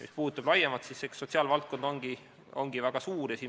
Mis puudutab küsimust laiemalt, siis eks sotsiaalvaldkond olegi väga suur.